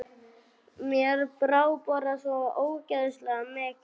Mér brá bara svo ógeðslega mikið.